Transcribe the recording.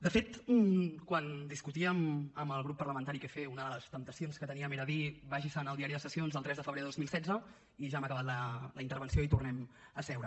de fet quan discutíem amb el grup parlamentari què fer una de les temptacions que teníem era dir vagi se’n al diari de sessions del tres de febrer de dos mil setze i ja hem acabat la intervenció i tornem a seure